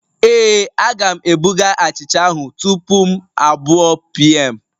Ee, Aga'm ebuga achicha ahụ tupu m abụọ pm